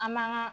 An man ka